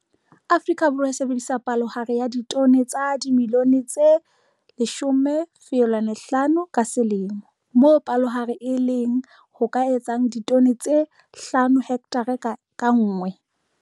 Afrika Borwa e sebedisa palohare ya ditone tsa dimilione tse 10,5 ka selemo, moo palohare e leng ho ka etsang ditone tse 5 hekthara ka nngwe.